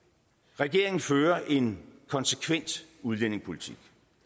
regeringen fører en konsekvent udlændingepolitik